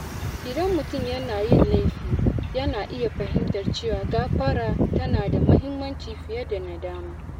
Idan mutum yana yin laifi, yana iya fahimtar cewa gãfara tana da mahimmanci fiye da nadama.